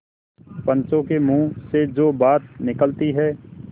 पंचों के मुँह से जो बात निकलती है